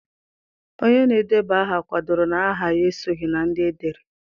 Onye na-edeba aha kwadoro na aha ya esoghị na ndị edere.